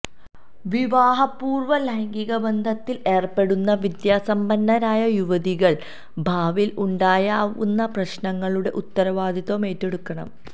വിവാഹപൂര്വ ലൈംഗിക ബന്ധത്തില് ഏര്പ്പെടുന്ന വിദ്യാസമ്പന്നയായ യുവതികള് ഭാവിയില് ഉണ്ടായേക്കാവുന്ന പ്രശ്നങ്ങളുടെ ഉത്തരവാദിത്വവും ഏറ്റെടുക്കണം